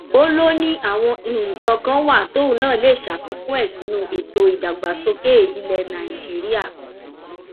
ó lọ ni àwọn nǹkan kan wà tóun náà lè ṣàfikún ẹ sínú ètò ìdàgbàsókè ilẹ nàìjíríà